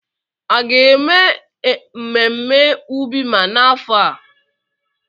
A ga-eme mmemme Ubima n'afọ a?